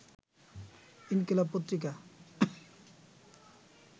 ইনকিলাব পত্রিকা